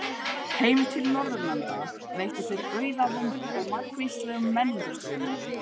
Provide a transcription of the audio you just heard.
Heim til Norðurlanda veittu þær auðæfum og margvíslegum menningarstraumum.